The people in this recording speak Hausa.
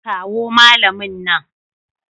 Kawo malamin nan.